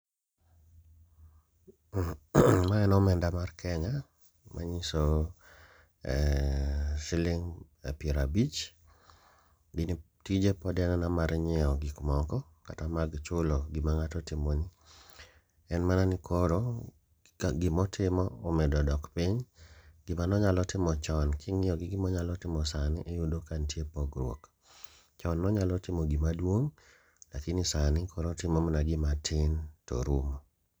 Ma en omenda mar Kenya ma nyiso siling' pierabich, gini tije pod en aena mar nyiewo gik moko kata mag chulo gima ng'ato otimo ni. En mana ni koro gimotimo omedo dok piny, gima nonyalo timo chon king'iyi gi gimonyalo timo sani iyudo ka nitie pogruok. Chon nonyalo timo gima duong', lakini sani koro otimo mana gima tin torumo.